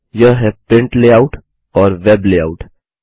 यह हैं print layout और वेब लेआउट